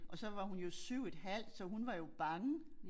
Og så var hun jo 7 et halvt så hun var jo bange